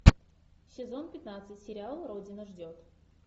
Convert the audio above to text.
сезон пятнадцать сериал родина ждет